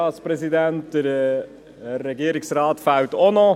Der Regierungsrat fehlt auch noch.